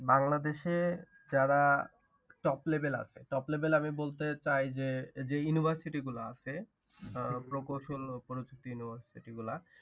বাংলাদেশে যারা top level আছে। Top level আমি বলতে চাই যে university গুলা আছে আহ প্রকৌশল ও পরিচিতি university গুলা